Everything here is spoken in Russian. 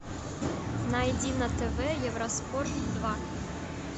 найди на тв евроспорт два